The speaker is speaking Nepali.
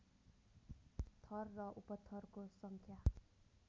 थर र उपथरको सङ्ख्या